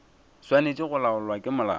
swanetše go laolwa ke molao